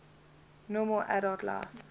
normal adult life